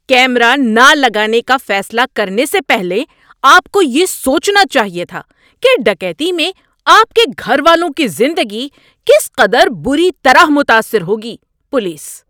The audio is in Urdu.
کیمرہ نہ لگانے کا فیصلہ کرنے سے پہلے آپ کو یہ سوچنا چاہیے تھا کہ ڈکیتی میں آپ کے گھر والوں کی زندگی کس قدر بری طرح متاثر ہوگی۔ (پولیس)